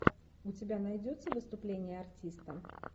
у тебя найдется выступление артиста